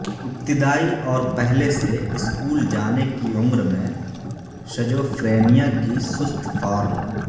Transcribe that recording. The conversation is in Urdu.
ابتدائی اور پہلے سے اسکول جانے کی عمر میں شجوفرینیا کی سست فارم